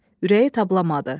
Ürəyi tablamadı.